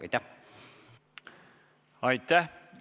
Aitäh!